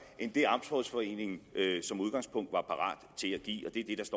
end det amtsrådsforeningen som udgangspunkt var parat til at give